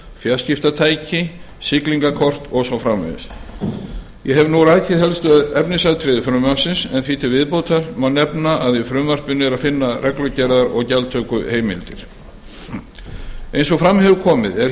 fjarskiptatæki siglingakort og svo framvegis ég hef nú rakið helstu efnisatriði frumvarpsins en því til viðbótar má nefna að í frumvarpinu er að finna reglugerðar og gjaldtökuheimild eins og fram hefur komið er hér